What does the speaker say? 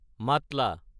Matla